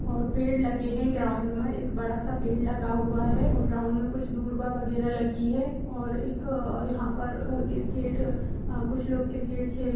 और पेड़ लगे हैं ग्राउंड में | एक बड़ा-सा पेड़ लगा हुआ है और ग्राउंड में कुछ दुर्बा बगेरा लगी है| और एक यहाँ पर क्रिकेट अ कुछ लोग क्रिकेट खेल --